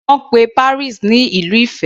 Wọ́n pe Paris ní Ìlú ìfẹ́.